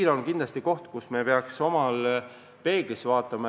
See on kindlasti koht, kus me peaks ise peeglisse vaatama.